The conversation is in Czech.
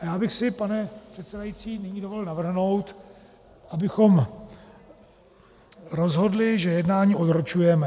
A já bych si, pane předsedající, nyní dovolil navrhnout, abychom rozhodli, že jednání odročujeme.